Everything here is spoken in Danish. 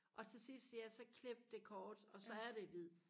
og til sidst ja så klippe det kort og så er det hvid